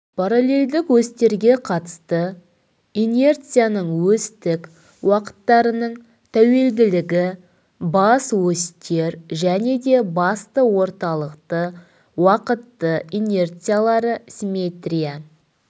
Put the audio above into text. параллельдік осьтерге қатысты инерцияның осьтік уақыттарының тәуелділігі бас осьтер және де басты орталықты уақытты инерциялары симметрия